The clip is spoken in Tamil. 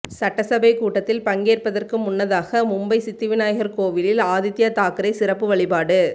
சட்டசபை கூட்டத்தில் பங்கேற்பதற்கு முன்னதாக மும்பை சித்தி விநாயகர் கோவிலில் ஆதித்யா தாக்கரே சிறப்பு வழிபாடு